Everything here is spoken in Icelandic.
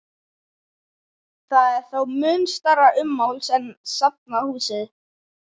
Það er þó mun stærra ummáls en safnahúsið.